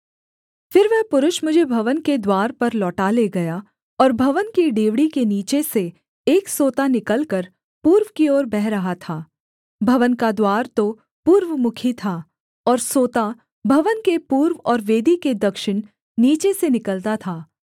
फिर वह पुरुष मुझे भवन के द्वार पर लौटा ले गया और भवन की डेवढ़ी के नीचे से एक सोता निकलकर पूर्व की ओर बह रहा था भवन का द्वार तो पूर्वमुखी था और सोता भवन के पूर्व और वेदी के दक्षिण नीचे से निकलता था